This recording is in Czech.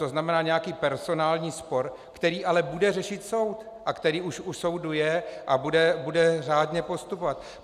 To znamená nějaký personální spor, který ale bude řešit soud a který už u soudu je a bude řádně postupovat.